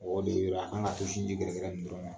O de la a kan k'a to sinji gɛrɛgɛrɛ nin dɔrɔn na.